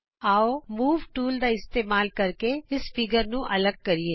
ਆਉ move tool ਦਾ ਇਸਤੇਮਾਲ ਕਰਕੇ ਇਸ ਚਿੱਤਰ ਨੂੰ ਅੱਲਗ ਕਰੀਏ